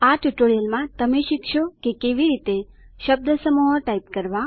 આ ટ્યુટોરીયલ માં તમે શીખશો કે કેવી રીતે શબ્દસમૂહો ટાઇપ કરવા